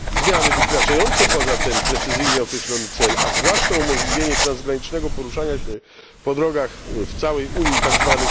Zmiany wykraczające poza ten precyzyjnie określony cel, a zwłaszcza umożliwienie transgranicznego poruszania się po drogach w całej Unii tzw.